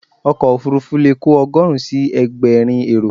Ọkọ̀ òfurufú leè kò ogóòrun si egbèrin èrò